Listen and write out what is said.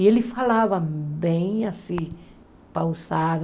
E ele falava bem assim, pausado.